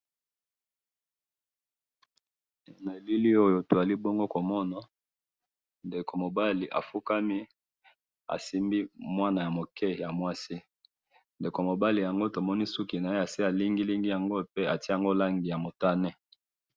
Nabilili oyo tozali bongo komona, ndeko mobali afukami asimbi mwana muke yamwasi, ndeko mobali yango tomoni suki naye asi alingilingi yango, pe atye langi yamotane